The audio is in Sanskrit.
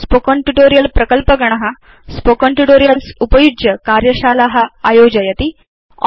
स्पोकेन ट्यूटोरियल् प्रकल्पगण स्पोकेन ट्यूटोरियल्स् उपयुज्य कार्यशाला आयोजयति